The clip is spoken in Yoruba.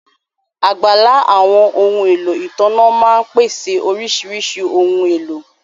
Abala àwọn ohun èlò ìtànná máa ń pèsè oríṣiríṣi ohun èlò